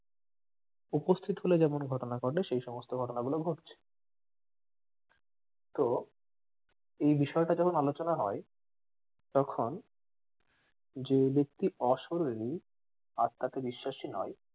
উপস্থিত হলে যেমন ঘটনা ঘটে সেই সমস্ত ঘটনা গুলো ঘটছে তো এই বিষয়টা যখন আলোচনা হয় তখন যে ব্যাক্তি অশরিরি আত্মাতে বিশ্বাসী নয়